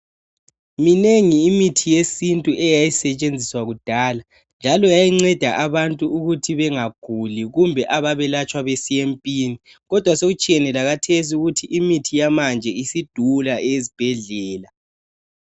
Minengi imithi yesintu eyayisetshenziswa kudala njalo yayinceda abantu ukuthi bengaguli kumbe ababelatshwa besiya empini kodwa sokutshiyene lakhathesi ukuthi imithi yamanje isidula eyezibhedlela.